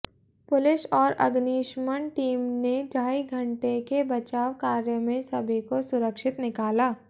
police और अग्निशमन team ने ढाई घंटे के बचाव कार्य में सभी को सुरक्षित निकाला